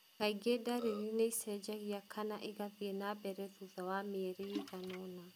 Kaingĩ ndariri nĩ ĩcenjagia kana ĩgathiĩ na mbere thutha wa mĩeri ĩigana ũna.